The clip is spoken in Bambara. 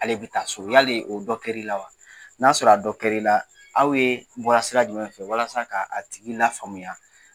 Ale bi taa so yali o dɔ kɛr'i la wa ? N'a sɔrɔ a dɔn kɛr'i la, aw ye, bɔra sira jumɛn fɛ walasa k'a a tigi lafaamuya.